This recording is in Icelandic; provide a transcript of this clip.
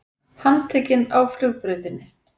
Handtekinn á flugbrautinni